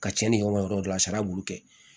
Ka cɛnni kɛ o yɔrɔ dɔ la a sara bulu kɛ